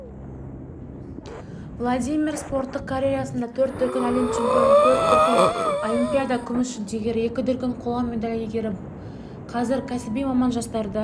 владимир спорттық карьерасында төрт дүркін әлем чемпионы төрт дүркін олимпиада күміс жүлдегері екі дүркін қола медаль иегері қазір кәсіби маман жастарды